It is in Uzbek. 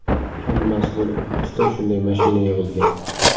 Hammasi bo‘lib oltita shunday mashina yig‘ilgan.